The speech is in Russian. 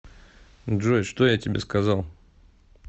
джой что я тебе сказал